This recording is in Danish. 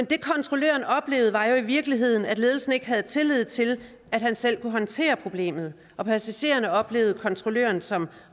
det kontrolløren oplevede var jo i virkeligheden at ledelsen ikke havde tillid til at han selv kunne håndtere problemet og passagererne oplevede kontrolløren som